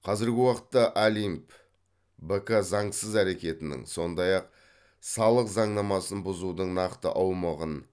қазіргі уақытта олимп бк заңсыз әрекетінің сондай ақ салық заңнамасын бұзудың нақты аумағын